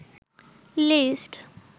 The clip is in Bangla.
লিস্ট